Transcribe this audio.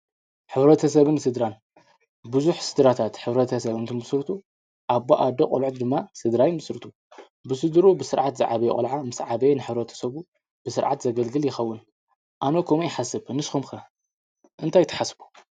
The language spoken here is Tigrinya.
ሕብረተሰብን ስድራን- ብዙሕ ስድራታት ሕብረተ ሰብን እትትምስርቱ ኣቦ፣ ኣደ፣ ቖልዑት ድማ ስድራ ይምስርቱ፡፡ ብስድርኡ ብስርዓት ዝዓበየ ቖልዓ ምስ ዓበዮ ንሕብረተሰብ ብስርዓት ዘገልግል ይኸውን፡፡ ኣነ ከምኡ ይሓስብ፡፡ ንስኹም ከ እንታይ ትሓስቡ?